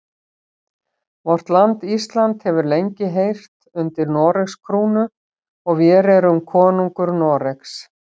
Vort land Ísland hefur lengi heyrt undir Noregs krúnu og vér erum konungur Noregs.